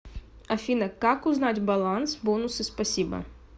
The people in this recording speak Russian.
афина как узнать баланс бонусы спасибо